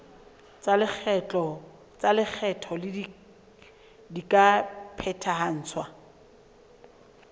tsa lekgetho di ka phethahatswa